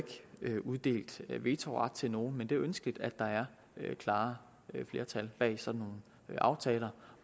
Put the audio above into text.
ikke uddelt vetoret til nogen men det er ønskeligt at der er klare flertal bag sådan nogle aftaler